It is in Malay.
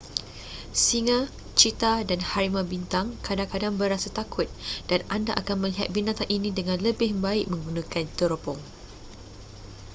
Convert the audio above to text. singa cheetah dan harimau bintang kadang-kadang berasa takut dan anda akan melihat binatang ini dengan lebih baik menggunakan teropong